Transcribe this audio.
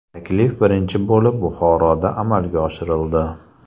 Taklif birinchi bo‘lib Buxoroda amalga oshirildi.